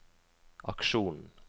aksjonen